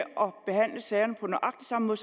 behandle sagerne på nøjagtig samme